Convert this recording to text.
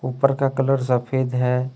ऊपर का कलर सफेद है।